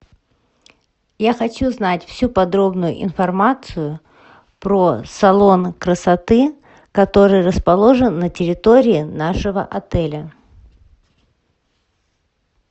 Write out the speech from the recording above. я хочу знать всю подробную информацию про салон красоты который расположен на территории нашего отеля